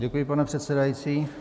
Děkuji, pane předsedající.